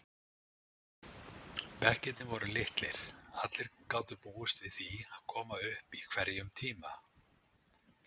Bekkirnir voru litlir, allir gátu búist við því að koma upp í hverjum tíma.